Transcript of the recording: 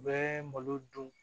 U bɛ malo dun